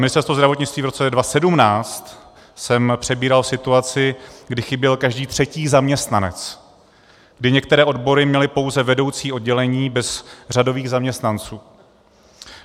Ministerstvo zdravotnictví v roce 2017 jsem přebíral situaci, kdy chyběl každý třetí zaměstnanec, kdy některé odbory měly pouze vedoucí oddělení bez řadových zaměstnanců.